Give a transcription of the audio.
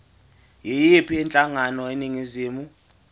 yiyiphi inhlangano eningizimu